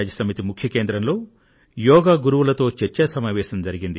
UN ముఖ్య కేంద్రంలో యోగా గురువులతో చర్చా సమావేశం జరిగింది